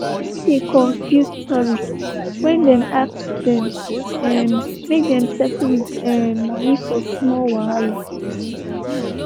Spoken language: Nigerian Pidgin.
e dey confuse tourists when dem ask dem um make dem settle with um moni for small wahala.